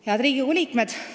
Head Riigikogu liikmed!